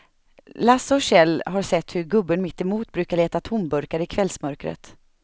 Lasse och Kjell har sett hur gubben mittemot brukar leta tomburkar i kvällsmörkret.